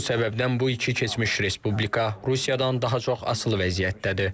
Bu səbəbdən bu iki keçmiş Respublika Rusiyadan daha çox asılı vəziyyətdədir.